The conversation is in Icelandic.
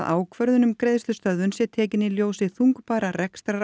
ákvörðun um greiðslustöðvun sé tekin í ljósi þungbærra